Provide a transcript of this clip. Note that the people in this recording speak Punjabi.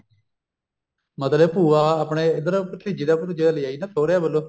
ਮਤਲਬ ਭੂਆ ਆਪਣੇ ਇੱਧਰ ਭਤੀਜੀ ਦਾ ਭਤੁਜੇ ਦਾ ਲੈ ਆਈ ਨਾ ਸੁਹਰਿਆ ਵੱਲੋ